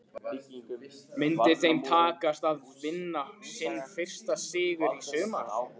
Myndi þeim takast að vinna sinn fyrsta sigur í sumar?